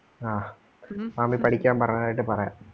ആ മാമി പഠിക്കാൻ പറഞ്ഞതായിട്ട് പറയാം.